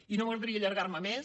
i no m’agradaria allargar me més